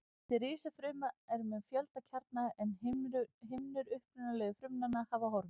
Þessi risafruma er með fjölda kjarna en himnur upprunalegu frumnanna hafa horfið.